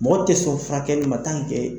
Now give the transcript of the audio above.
Mɔgɔ tɛ sɔn furakɛli ma